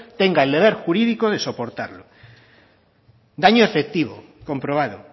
tenga el deber jurídico de soportarlo daño efectivo comprobado